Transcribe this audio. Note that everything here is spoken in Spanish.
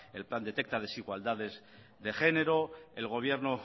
el plan detecta desigualdades de género el gobierno